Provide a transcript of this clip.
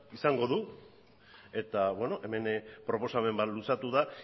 izango du eta beno hemen proposamen bat luzatu da